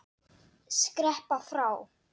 Skreppa frá?